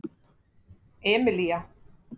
Emilía